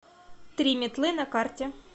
три метлы на карте